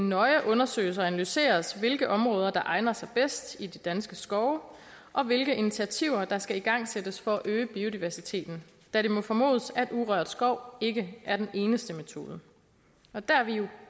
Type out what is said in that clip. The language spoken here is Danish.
nøje undersøges og analyseres hvilke områder der egner sig bedst i de danske skove og hvilke initiativer der skal igangsættes for at øge biodiversiteten da det må formodes at urørt skov ikke er den eneste metode og der er vi jo